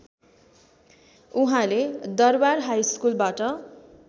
उहाँले दरबार हाइस्कूलबाट